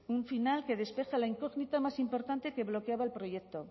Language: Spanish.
un final que despeja la incógnita más importante que bloqueaba el proyecto